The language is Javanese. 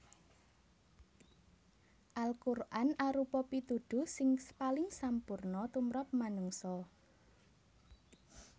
Al Quran arupa pituduh sing paling sampurna tumrap manungsa